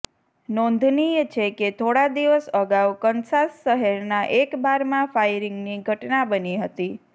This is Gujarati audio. નોંધનીય છે કે થોડા દિવસ અગાઉ કનસાસ શહેરના એક બારમાં ફાયરિંગની ઘટના બની હતી